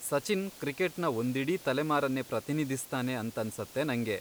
ಸಚಿನ್ ಕ್ರಿಕೆಟ್ನ ಒಂದಿಡೀ ತಲೆಮಾರನ್ನೇ ಪ್ರತಿನಿಧಿಸ್ತಾನೆ ಅಂತನ್ಸತ್ತೆ ನಂಗೆ.